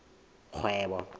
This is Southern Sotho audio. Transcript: kgwebo